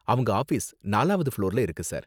அவங்க ஆஃபீஸ் நாலாவது ஃபுளோர்ல இருக்கு சார்.